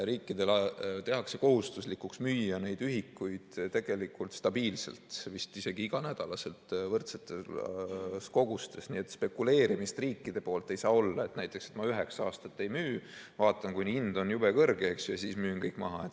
Riikidele tehakse kohustuslikuks müüa neid ühikuid tegelikult stabiilselt, vist isegi iganädalaselt võrdsetes kogustes, nii et spekuleerimist riikide poolt ei saa olla, et näiteks ma üheksa aastat ei müü, vaatan, kuni hind on jube kõrge, siis müün kõik maha.